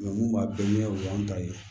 mun b'a bɛɛ ɲɛ o y'an ta ye